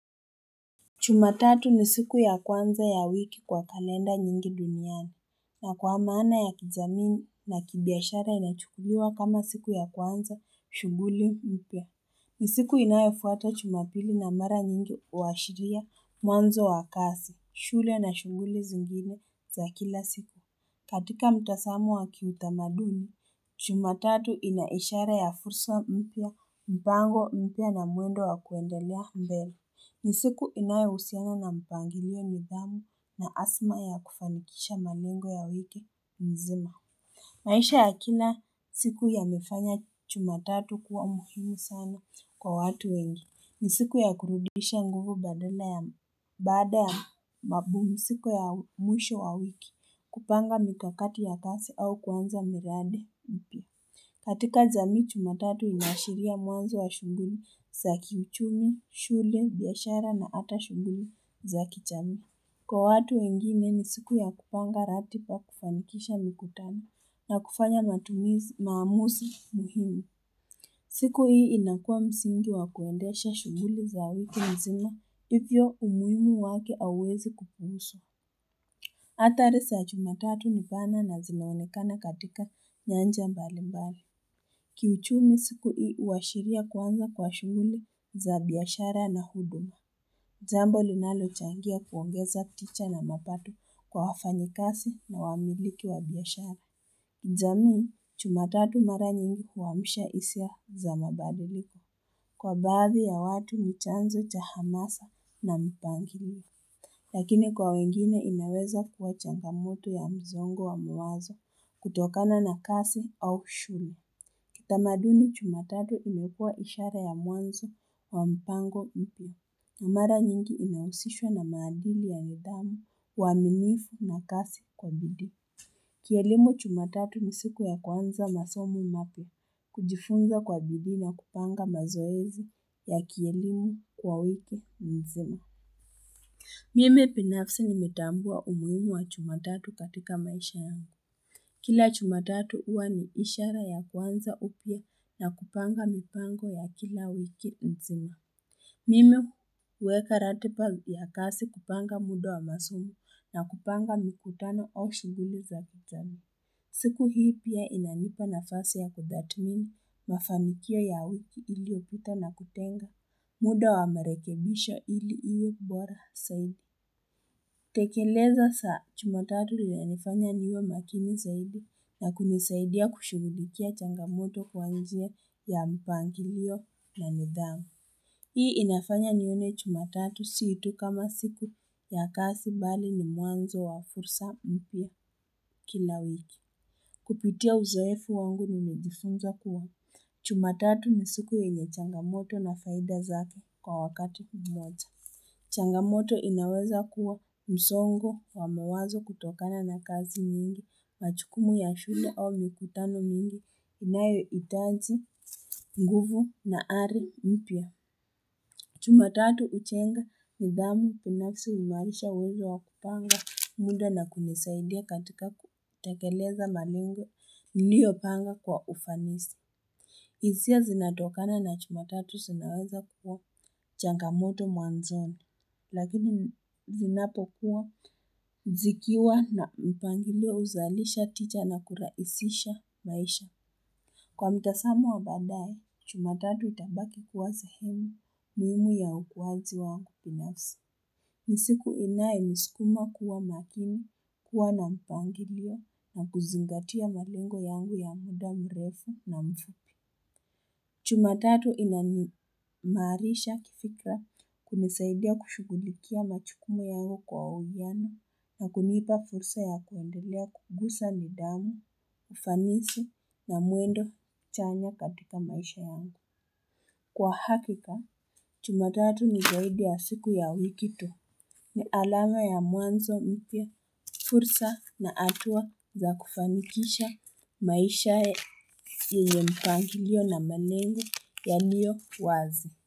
Jumatatu ni siku ya kwanza ya wiki kwa kalenda nyingi duniani. Na kwa maana ya kijamii na kibiashara inachukuliwa kama siku ya kwanza, shunguli, mpya. Ni siku inayofuata jumapili na mara nyingi huashiria, mwanzo wa kasi, shule na shunguli zingine za kila siku. Katika mtazamo wa kiutamaduni, jumatatu inaishara ya fursa mpya, mpango, mpya na mwendo wa kuendelea mbele. Nisiku inayohusiana na mpangilio nidhamu na asma ya kufanikisha malengo ya wiki mzima maisha ya kina siku yamefanya jumatatu kuwa muhimu sana kwa watu wengi nisiku ya kurudisha nguvu badala ya baada ya mapumziko ya mwisho wa wiki kupanga mikakati ya kazi au kuanza miradi ipi katika jamii jumatatu inaashiria mwanzo wa shunguli za kiuchumi, shule, biashara na ata shughuli za kijamii. Kwa watu wengine ni siku ya kupanga ratiba kufanikisha mikutano na kufanya matumizi maamuzi muhimu. Siku hii inakua msingi wa kuendesha shughuli za wiki mzima, ivyo umuhimu wake auwezi kupuuzwa. Ata research jumatatu nipana na zinaonekana katika nyanja mbali mbali. Kiuchumi siku hii huashiria kwanza kwa shughuli za biashara na huduma. Jambo linalochangia kuongeza ticha na mapato kwa wafanyikazi na wamiliki wa biashara. Zamini, jumatatu mara nyingi kuwamisha isia za mabaduliko. Kwa bazi ya watu mchanzo cha hamasa na mpanginilio. Lakini kwa wengine inaweza kuwa changamuto ya mzongo wa mawazo kutokana na kasi au shuni. Kutamadu ni jumatatu unepua ishara ya muanzo wa mpango ipi. Na mara nyingi inausishwa na maadili ya nidamu uanifu na kasi kwa bidi. Kielimu jumatatu ni siku ya kwanza masomo mapi kujifunga kwa bidi na kupanga mazoezu ya kielimu kwa wiku mzuna. Mime pinafsi nimetambua umuimu wa chumatatu katika maisha yangu. Kila jumatatu uwa ni ishara ya kwanza upia na kupanga mipango ya kila wiki mzima. Mime uweka ratiba ya kazi kupanga muda wa masumi na kupanga mikutano oshu gili za kutani. Siku hii pia inanipa na fasi ya kudatimini mafanikia ya wiki ili opita na kutenga muda wa merekebisha ili iyo kubora saidi. Tekeleza saa jumatatu ya nifanya niyo makini zaidi na kumisaidia kushughulikia changamoto kwa njia ya mpangiliyo na nidhamu. Hii inafanya niyo nione chumatatu siitu kama siku ya kasi bali ni muanzo wa fursa mpia kila wiki. Kupitia uzoefu wangu ni nijifunza kuwa. Jumatatu ni siku yenye changamoto na faida zake kwa wakati mboja. Changamoto inaweza kuwa msongo wamawazo kutokana na kazi mingi, machukumu ya shule au mikutano mingi, inayo itazi, nguvu na ari mpia. Jumatatu uchenga mudamu kuna kisi umarisha wejo wakupanga munda na kumisaidia katika kutakeleza maningo liyo panga kwa ufanisi. Izia zinatokana na jumatatu sinaweza kuwa changamoto mwanzonu, lakini zinapokuwa zikiwa na mpangilio uzalisha ticha na kuraisisha baisha. Kwa mitasamu wa babae, jumatatu utambaki kuwa zihemi, muhimu ya ukuwazi wangu binafsi. Misiku inaye miskuma kuwa makini, kuwa na mpangilio na kuzingatia malingo yangu ya muda mrefu na mfu. Jumatatu ina ni marisha kifika kumisaidia kushugulikia machukumu yangu kwa ujana na kunipa fursa ya kuendelea kugusa ni damu, ufanisi na muendo chanya katika maisha wangu. Kwa hakika, jumatatu ni gawidi ya siku ya wikito. Ni alama ya muanzo mitia, fursa na atua za kufanikisha maisha ye ye mpangilio na manengu yaliyowazi.